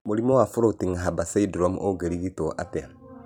Mũrimũ wa Floating Harbor syndrome ũngĩrigitwo atĩa?